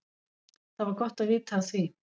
Það var gott vita af því.